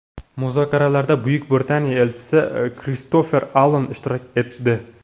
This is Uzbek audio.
Muzokaralarda Buyuk Britaniya elchisi Kristofer Alan ishtirok etdi.